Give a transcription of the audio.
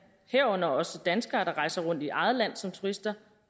herunder også danskere der rejser rundt i eget land som turister